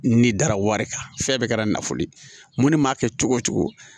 Ni dara wari kan fɛn bɛɛ kɛra nafolo ye mun ne m'a kɛ cogo o cogo